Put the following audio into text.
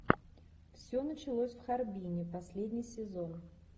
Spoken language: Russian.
все началось в харбине последний сезон